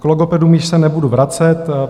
K logopedům již se nebudu vracet.